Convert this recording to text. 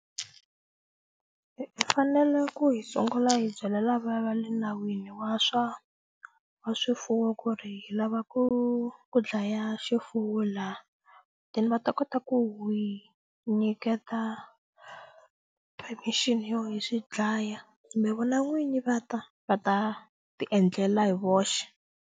I fanele ku hi sungula hi byela lava va le nawini wa swa wa swifuwo ku ri hi lava ku ku dlaya xifuwo la then va ta kota ku hi nyiketa permission yo hi swi dlaya kumbe vona n'winyi va ta va ta ti endlela hi voxe.